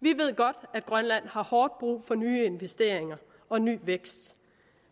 vi ved godt at grønland har hårdt brug for nye investeringer og ny vækst